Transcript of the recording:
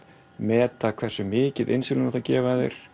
meta hversu mikið insúlín á að gefa þér